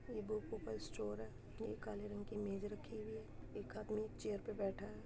ये बुको का स्टोर है। ये काले रंग की मेज रखी हुई है। एक आदमी चेयर पे बैठा है।